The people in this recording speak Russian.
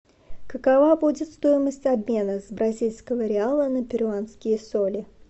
какова будет стоимость обмена с бразильского реала на перуанские соли